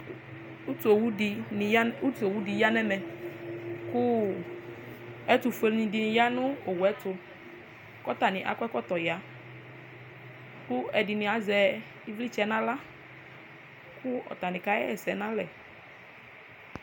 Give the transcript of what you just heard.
utu owu di ni ya utu owu di ya n'ɛmɛ kò ɛtofue ni di ya no owuɛto k'atani akɔ ɛkɔtɔ ya kò ɛdini azɛ ivlitsɛ n'ala kò atani ka ɣa ɛsɛ n'alɛ